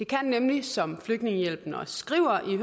som flygtningehjælp også skriver i